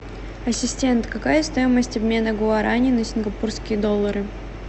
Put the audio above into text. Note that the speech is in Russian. ассистент какая стоимость обмена гуарани на сингапурские доллары